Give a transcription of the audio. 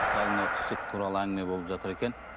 қазір мынау түсік туралы әңгіме болып жатыр екен